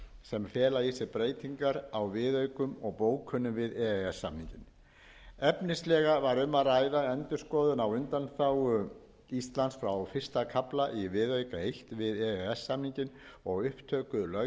sem fela í sér breytingar á viðaukum og bókunum við e e s samninginn efnislega var um að ræða endurskoðun á undanþágu íslands frá fyrsta kafla í viðauka eins við e e s samninginn og upptöku löggjafar evrópusambandsins um